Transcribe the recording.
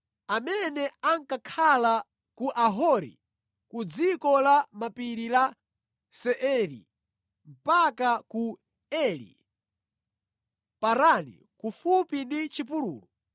amene ankakhala ku Ahori, ku dziko la mapiri la Seiri mpaka ku Eli Parani kufupi ndi chipululu.